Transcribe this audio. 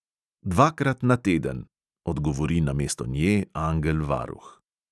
"Dvakrat na teden," odgovori namesto nje angel varuh.